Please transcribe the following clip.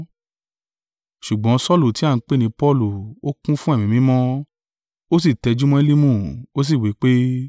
Ṣùgbọ́n Saulu ti a ń pè ni Paulu, ó kún fún Ẹ̀mí Mímọ́, ó sì tẹjúmọ́ Elimu, ó sì wí pé,